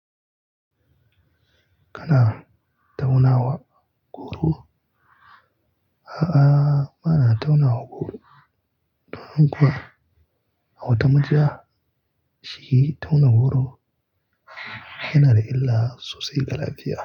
Kana tauna wa goro? A'a, ba na tauna wa goro. Ɗomin kuwa a wata majiya shi tauna goro yana da illa sosai ga lafiya.